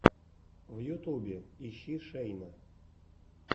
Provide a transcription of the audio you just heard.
в ютюбе ищи шейна